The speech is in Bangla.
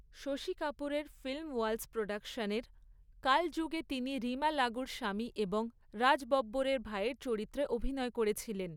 শশী কাপুরের ফিল্মওয়ালাস প্রোডাকশনের 'কালযুগ' এ তিনি রীমা লাগুর স্বামী এবং রাজ বব্বরের ভাইয়ের চরিত্রে অভিনয় করেছিলেন।